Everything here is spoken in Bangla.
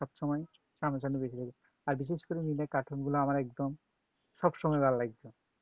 সবসময় সামনা সামনি বেশি করি আর বিশেষ করে ওই গুলা আমার একদম সবসময় ভাল্লাগে